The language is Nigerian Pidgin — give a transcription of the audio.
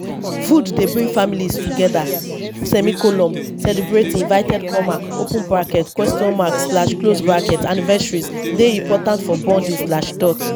food dey bring families together; celebratin’ anniversaries dey important for bonding.